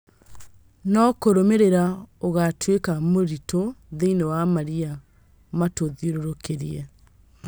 no kũrũmĩrĩra ũgatuĩka mũrĩtu thĩinĩ wa marĩa matũthiũrũrũkĩirie.